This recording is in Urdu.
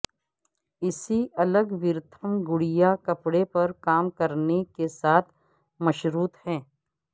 اسی الگورتھم گڑیا کپڑے پر کام کرنے کے ساتھ مشروط ہے